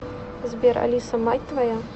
сбер алиса мать твоя